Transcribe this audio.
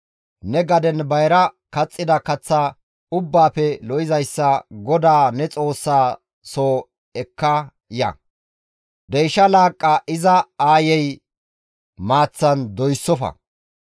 Ne gaden bayra kaxxida kaththa ubbaafe lo7izayssa GODAA ne Xoossaa soo ekka ya. Deyshsha laaqqa iza aayey maaththan doyssofa.